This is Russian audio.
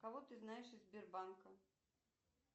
кого ты знаешь из сбербанка